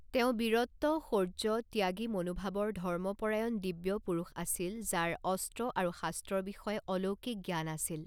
তেওঁ বীৰত্ব, শৌৰ্য, ত্যাগী মনোভাৱৰ ধৰ্মপৰায়ণ দিব্য পুৰুষ আছিল যাৰ অস্ত্ৰ আৰু শাস্ত্ৰৰ বিষয়ে অলৌকিক জ্ঞান আছিল।